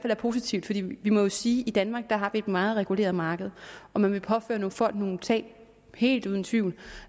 er positivt fordi vi må jo sige at i danmark har vi et meget reguleret marked og man ville påføre nogle folk nogle tab helt uden tvivl